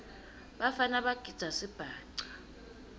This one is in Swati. bafana bagidza sibhaca